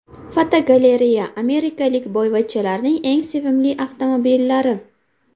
Fotogalereya: Amerikalik boyvachchalarning eng sevimli avtomobillari.